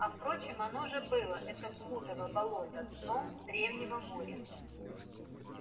а впрочем оно же было это блудово болото дном древнего моря